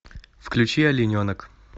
включи олененок